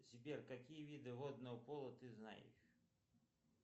сбер какие виды водного поло ты знаешь